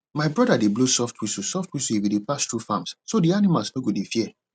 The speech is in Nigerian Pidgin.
my brother dey blow soft whistle soft whistle if e dey pass through farms so d animals no go dey fear